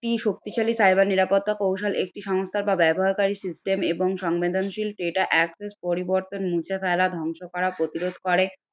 একটি শক্তিশালী cyber নিরাপত্তা কৌশল একটি সংস্থা বা ব্যবহারকারী system এবং সংবেদনশীল data access পরিবর্তন মুছে ফেলা ধ্বংস করা প্রতিরোধ করে।